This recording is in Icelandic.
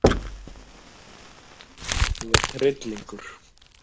Þú ert hryllingur!